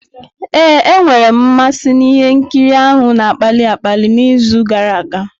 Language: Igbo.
Ee, enwere m mmasị na ihe nkiri ahụ na-akpali akpali n'izu gara aga.